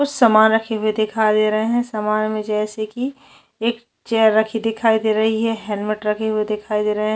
कुछ सामान रखी हुई दिखाई दे रहे है सामान में जैसे की एक चेयर रखी दिखाई दे रही है हेलमेट रखी हुई दिखाई दे रहे है।